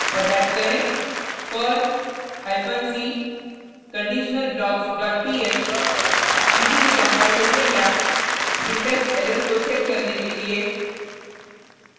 और टाइप करें perl hyphen c conditionalblocks dot pl किसी भी कंपाइलेशन या सिंटेक्स एरर को चेक करने के लिए